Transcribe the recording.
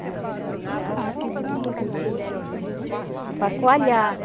Então você jogava o... O tucupi, é. Para coalhar.